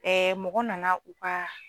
Ɛɛ mɔgɔ nana u ka